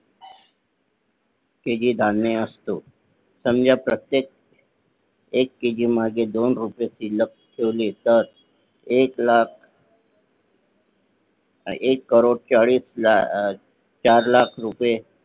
ते जे धान्य असत समजा प्रत्येक एक KG मागे दोन रुपये लपवले तर एक लाख एक कोटी चाळीस लाख, चार लाख रुपये